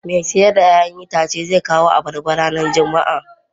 Mai siyar da 'ya'yan itace zai kawo abarba ranar Juma'a.